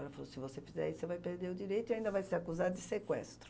Ela falou, se você fizer isso, você vai perder o direito e ainda vai ser acusada de sequestro.